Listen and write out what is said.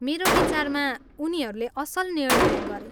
मेरो विचारमा उनीहरूले असल निर्णय गरे।